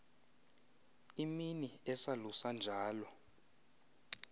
imini esalusa njalo